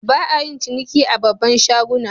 Ba'a yin ciniki a babban shaguna.